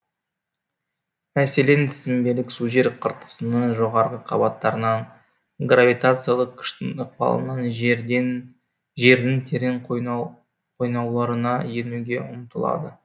мәселен сіңбелік су жер қыртысыныңі жоғарғы қабаттарынан гравитациялық күштің ықпалынан жердің терең қойнауларына енуге ұмтылады